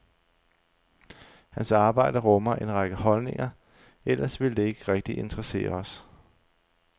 Hans arbejde rummer en række holdninger, ellers ville det ikke rigtig interessere os.